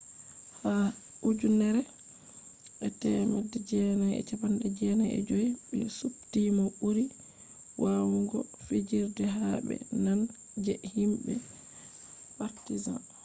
ha 1995 be supti mo buri wawugo fijirde ha be nane je himbe partizan